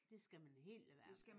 Det skal man helt lade være med